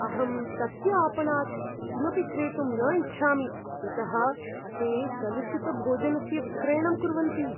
अहं तस्य आपणात् किमपि क्रेतुं न इच्छामि यतः ते कलुषितभोजनस्य विक्रयणं कुर्वन्ति।